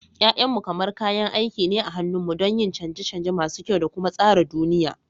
Ya'yanmu kamar kayan aiki ne a hannunmu don yin canje-canje masu kyau da kuma tsara duniya.